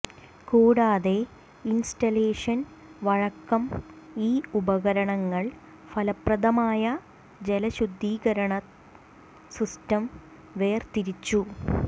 കൂടാതെ ഇൻസ്റ്റലേഷൻ വഴക്കം ഈ ഉപകരണങ്ങൾ ഫലപ്രദമായ ജലശുദ്ധീകരണ സിസ്റ്റം വേർതിരിച്ചു